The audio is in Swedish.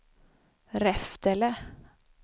Reftele